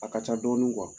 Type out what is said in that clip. A ka ca dɔɔni